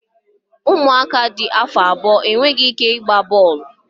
Ụmụaka dị afọ abụọ enweghị ike ịgba bọọlụ